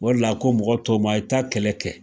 O de la , a ko mɔgɔ tɔw ma a ye taa kɛlɛ kɛ.